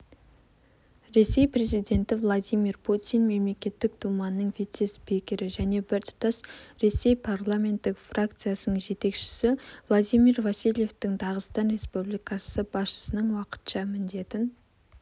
ресей президенті владимир путин мемлекеттік думаның вице-спикері және біртұтас ресей парламенттік фракциясының жетекшісі владимир васильевті дағыстан республикасы басшысының уақытша міндетін